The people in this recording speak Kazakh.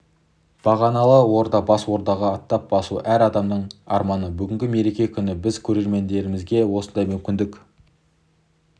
бағаналы орда бас ордаға аттап басу әр адамның арманы бүгінгі мереке күні біз көрермендерімізге осындай мүмкіндік